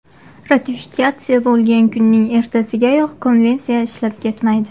Ratifikatsiya bo‘lgan kunning ertasigayoq konvensiya ishlab ketmaydi.